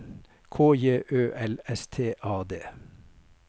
K J Ø L S T A D